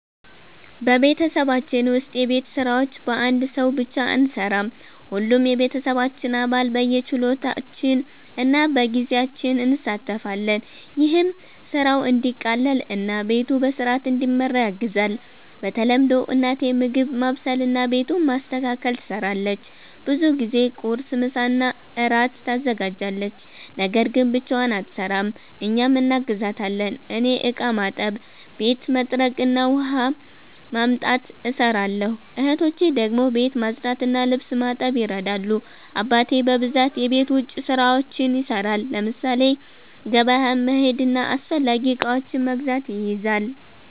በቤተሰባችን ውስጥ የቤት ስራዎች በአንድ ሰው ብቻ አንሠራም። ሁሉም የቤተሰባችን አባል በየችሎታችን እና በጊዜያችን እንሣተፋለን። ይህም ስራው እንዲቀላቀል እና ቤቱ በሥርዓት እንዲመራ ያግዛል። በተለምዶ እናቴ ምግብ ማብሰልና ቤቱን ማስተካከል ትሰራለች። ብዙ ጊዜ ቁርስ፣ ምሳና እራት ታዘጋጃለች። ነገር ግን ብቻዋን አትሰራም፤ እኛም እናግዛታለን። እኔ እቃ ማጠብ፣ ቤት መጥረግ እና ውሃ ማምጣት እሰራለሁ። እህቶቼ ደግሞ ቤት ማጽዳትና ልብስ ማጠብ ይረዳሉ። አባቴ በብዛት የቤት ውጭ ስራዎችን ይሰራል፤ ለምሳሌ ገበያ መሄድና አስፈላጊ እቃዎችን መግዛት ይይዛል።